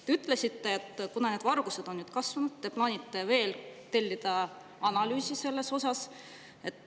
Te ütlesite, et kuna varastamine on kasvanud, siis te plaanite tellida veel analüüsi selle kohta.